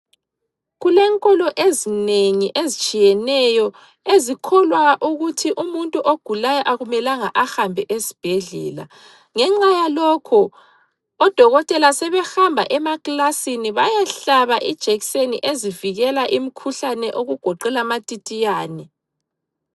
Kulenkolo ezinengi ezitshiyeneyo ezikholwa ukuthi umuntu ogulayo akumelanga ahambe esibhedlela ngenxa yalokho odokotela sebehamba emaklasini bayehlaba ijekiseni ezivikela imikhuhlane okugoqela amatitiyane.